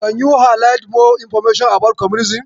Can you highlight more information about communism.